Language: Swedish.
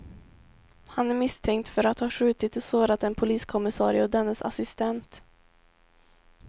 Han är misstänkt för att ha skjutit och sårat en poliskommissarie och dennes assistent.